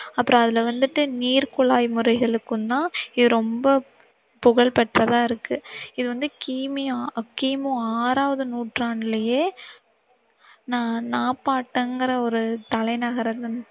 அப்புறம் அதுல வந்திட்டு நீர்குழாய் முறைகளுக்கும் தான் இது ரொம்ப புகழ் பெற்றதாயிருக்கு. இது வந்து கீ மீ கீ மு ஆறாவது நூற்றுடாண்டுலையே நா~நாப்பபாடிங்கிற ஒரு தலைநகர்